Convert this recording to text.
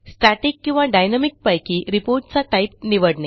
static किंवा dynamic पैकी report चा टाईप निवडणे